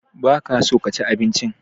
Ba ka so ka ci abinci?